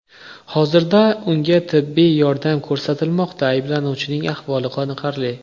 Hozirda unga tibbiy yordam ko‘rsatilmoqda, ayblanuvchining ahvoli qoniqarli.